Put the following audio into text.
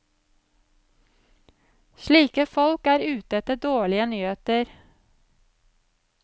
Slike folk er ute etter dårlige nyheter.